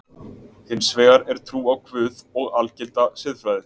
Hins vegar er trú á Guð og algilda siðfræði.